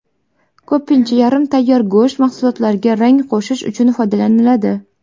Ko‘pincha yarim tayyor go‘sht mahsulotlariga rang qo‘shish uchun foydalaniladi.